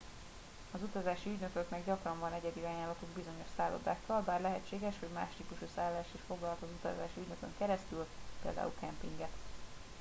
az utazási ügynököknek gyakran van egyedi ajánlatuk bizonyos szállodákkal bár lehetséges hogy más típusú szállást is foglalhat utazási ügynökön keresztül például kempinget